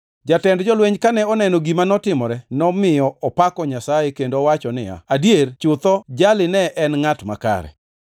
Jatend jolweny kane oneno gima notimore, nomiyo opako Nyasaye kendo wacho niya, “Adier chutho, jali ne en ngʼat makare!”